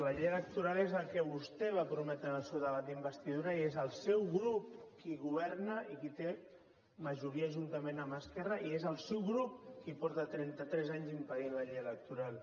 la llei electoral és el que vostè va prometre en el seu debat d’investidura i és el seu grup qui governa i qui té majoria juntament amb esquerra i és el seu grup qui porta trenta tres anys impedint la llei electoral